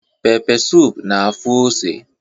Pepe suup na-afụ ose